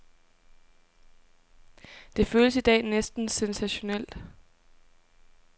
Det føles i dag næsten sensationelt.